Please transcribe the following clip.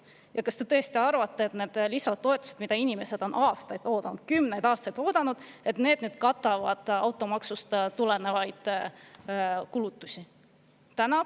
Ja kas te tõesti arvate, et kui nüüd tulevadki need lisatoetused, mida inimesed on aastaid oodanud, kümneid aastaid oodanud, siis katavad need automaksust tulenevaid kulutusi?